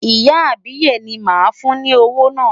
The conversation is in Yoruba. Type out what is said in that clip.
Ìyá àbíyè ni màá fún ní owó náà.